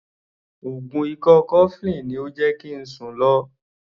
Oògùn ikọ́ cofflin ni ó jẹ́ kí ń sùn lo.